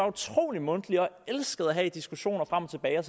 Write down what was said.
utrolig mundtlige elever der elskede at have diskussioner frem og tilbage